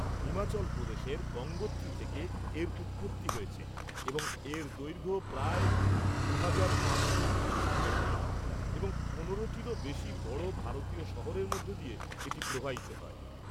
হিমাচল প্রদেশের গঙ্গোত্রী থেকে এর উৎপত্তি হয়েছে এবং এর দৈর্ঘ্য প্রায় দুহাজার পাঁচশো পঁচিশ কিলোমিটার, এবং ১৫টিরও বেশি বড় ভারতীয় শহরের মধ্য দিয়ে এটি প্রবাহিত হয়।